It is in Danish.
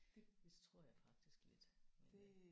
Det det tror jeg faktisk lidt men